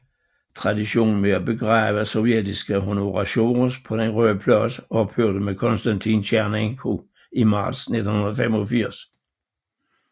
Traditionen med at begrave sovjetiske honoratiores på Den Røde Plads ophørte med Konstantin Tjernenko i marts 1985